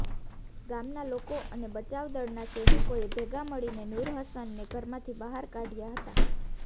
ગામના લોકો અને બચાવ દળના સૈનિકોએ ભેગા મળીને નૂરહસનને ઘરમાંથી બહાર કાઢ્યા હતા